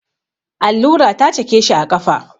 Allura ta cake shi a ƙafa.